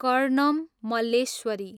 Karnam Malleswari